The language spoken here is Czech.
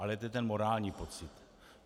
Ale to je ten morální pocit.